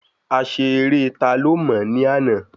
A ṣe eré ta ló mò ní àná